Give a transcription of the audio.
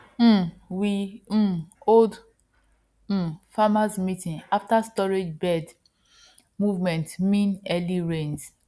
um we um hold um farmers meeting after storage bird movement mean early rains